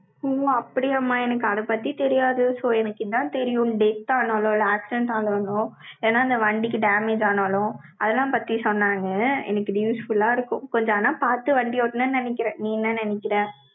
ஓ, அப்படியாம்மா? எனக்கு அதைப் பத்தி தெரியாது. so எனக்கு இதான் தெரியும், death ஆனாலும், accident ஆனாலும் ஏன்னா, இந்த வண்டிக்கு damage ஆனாலும், அதெல்லாம் பத்தி சொன்னாங்க. எனக்கு இது useful ஆ இருக்கும். கொஞ்சம் ஆனா, பாத்து வண்டி ஓட்டணும்ன்னு நினைக்கிறேன். நீ என்ன நினைக்கிற? ஆமாம்மா,